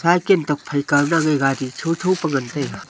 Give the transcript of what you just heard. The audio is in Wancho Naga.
cycle tokphai kaw na a gari tho tho pe ngan taiga.